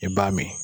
I b'a min